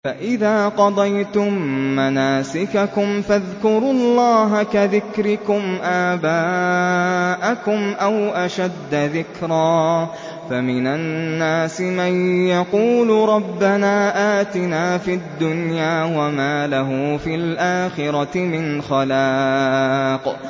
فَإِذَا قَضَيْتُم مَّنَاسِكَكُمْ فَاذْكُرُوا اللَّهَ كَذِكْرِكُمْ آبَاءَكُمْ أَوْ أَشَدَّ ذِكْرًا ۗ فَمِنَ النَّاسِ مَن يَقُولُ رَبَّنَا آتِنَا فِي الدُّنْيَا وَمَا لَهُ فِي الْآخِرَةِ مِنْ خَلَاقٍ